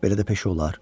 belə də peşə olar.